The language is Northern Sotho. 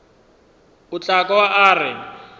o tla kwa a re